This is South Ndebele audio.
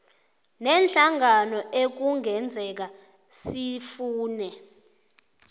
neenhlangano ekungenzeka sifune